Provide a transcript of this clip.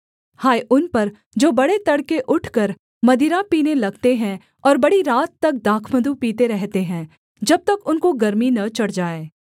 हाय उन पर जो बड़े तड़के उठकर मदिरा पीने लगते हैं और बड़ी रात तक दाखमधु पीते रहते हैं जब तक उनको गर्मी न चढ़ जाए